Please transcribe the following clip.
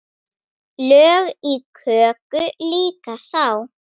Lög í köku líka sá.